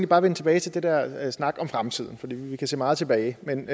bare vende tilbage til den der snak om fremtiden for vi kan se meget tilbage men